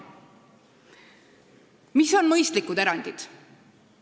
Mis on mõistlikud erandid?